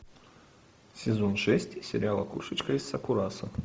сезон шесть сериала кошечка из сакурасо